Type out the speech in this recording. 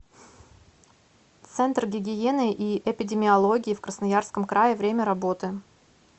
центр гигиены и эпидемиологии в красноярском крае время работы